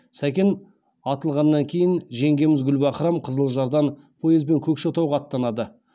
сәкен атылғаннан кейін жеңгеміз гүлбаһрам қызылжардан поезбен көкшетауға аттанады